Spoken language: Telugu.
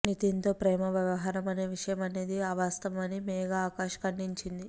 నితిన్తో ప్రేమ వ్యవహారం అనే విషయం అనేది అవాస్తవం అని మేఘా ఆకాశ్ ఖండించింది